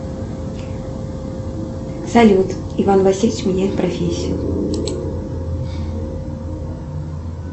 салют иван васильевич меняет профессию